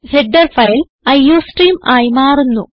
header file iostream ആയി മാറുന്നു